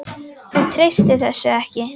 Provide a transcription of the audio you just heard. Þú treystir þessu ekki?